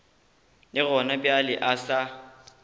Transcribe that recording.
le gona bjale o sa